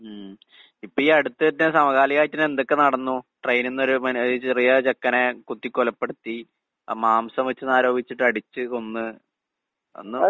ഉം. ഇപ്പയീ അടുത്തെന്നെ സമകാലികായിട്ടെന്നെ എന്തൊക്കെ നടന്നു. ട്രെയിനിന്നൊരു മനോ ഒരു ചെറിയ ചെക്കനെ കുത്തിക്കൊലപ്പെടുത്തി, അഹ് മാംസം വെച്ചൂന്നാരോപിച്ചിട്ട് അടിച്ച് കൊന്ന്. ഒന്ന്